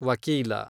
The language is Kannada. ವಕೀಲ